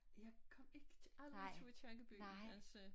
Jeg kom ikke til aldrig til Aakirkeby altså